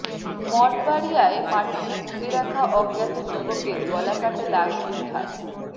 মঠবাড়িয়ায় মাটিতে পুতে রাখা অজ্ঞাত যুবকের গলাকাটা লাশ উদ্ধার